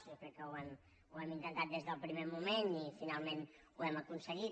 jo crec que ho hem intentat des del primer moment i finalment ho hem aconseguit